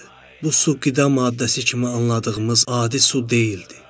Bu su qida maddəsi kimi anladığımız adi su deyildi.